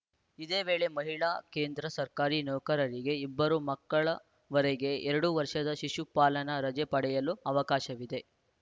ಇದೇ ವೇಳೆ ಮಹಿಳಾ ಕೇಂದ್ರ ಸರ್ಕಾರಿ ನೌಕರರಿಗೆ ಇಬ್ಬರು ಮಕ್ಕಳವರೆಗೆ ಎರಡು ವರ್ಷದ ಶಿಶುಪಾಲನಾ ರಜೆ ಪಡೆಯಲು ಅವಕಾಶವಿದೆ